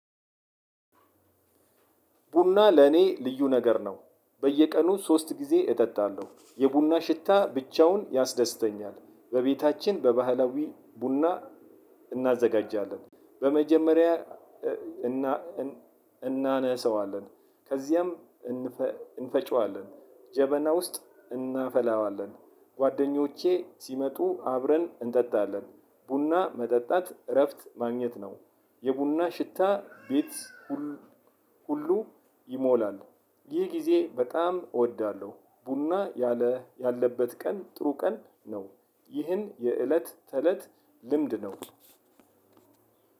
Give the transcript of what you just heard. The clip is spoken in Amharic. ቡና ለኔ ልዩ ነገር ነው። በየቀኑ ሶስት ጊዜ እጠጣለሁ የቡና ሽታ ብቻውን ያስደስተኛል። በቤታችን በባህላዊ ቡና እናዘጋጃለን በመጀመሪያ እና እናነሰዋለን ከዚያም እንፈጨዋለን ጀበና ውስጥ እናፈላዋለን። ጓደኞቼ ሲመጡ አብረን እንጠጣለን ቡና መጠጣት እረፍት ማግኘት ነው። የቡና ሽታ ቤት ሁ ሁሉ ይሞላል። ይህ ጊዜ በጣም እወዳለው ቡና ያለ ያለበት ቀን ጥሩ ቀን ነው። ይሄ የእለት ተእለት ልምድ ነው።